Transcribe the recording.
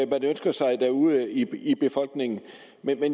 man ønsker sig derude i befolkningen men